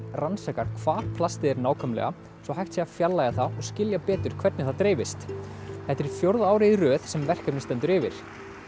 rannsakar hvar plastið er nákvæmlega svo hægt sé að fjarlægja það og skilja betur hvernig það dreifist þetta er í fjórða árið í röð sem verkefnið stendur yfir